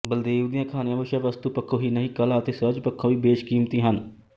ਬਲਦੇਵ ਦੀਆਂ ਕਹਾਣੀਆਂ ਵਿਸ਼ਾਵਸਤੂ ਪੱਖੋਂ ਹੀ ਨਹੀਂ ਕਲਾ ਅਤੇ ਸੁਹਜ ਪੱਖੋਂ ਵੀ ਬੇਸ਼ਕੀਮਤੀ ਹਨ